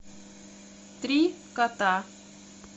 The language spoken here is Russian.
три кота